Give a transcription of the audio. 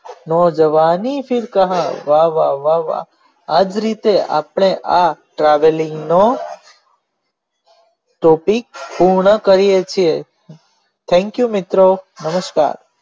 જય જવાનીફિર કહા વાહ વાહ વાહ વાહ આજ રીતે આપણે આ traveling નો topic પ્રુણ કરીયે છીએ thek you મિત્રો નમસ્કાર